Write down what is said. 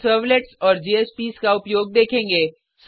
हम सर्वलेट्स और जेएसपीएस का उपयोग देखेंगे